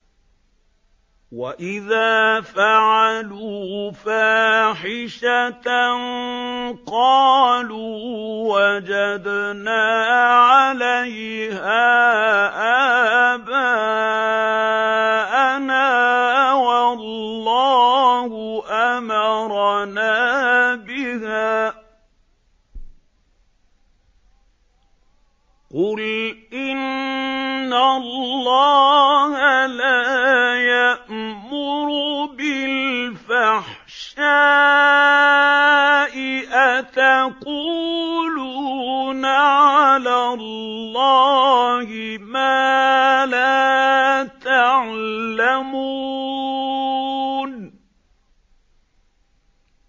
وَإِذَا فَعَلُوا فَاحِشَةً قَالُوا وَجَدْنَا عَلَيْهَا آبَاءَنَا وَاللَّهُ أَمَرَنَا بِهَا ۗ قُلْ إِنَّ اللَّهَ لَا يَأْمُرُ بِالْفَحْشَاءِ ۖ أَتَقُولُونَ عَلَى اللَّهِ مَا لَا تَعْلَمُونَ